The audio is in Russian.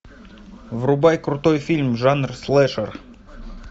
врубай крутой фильм жанр слешер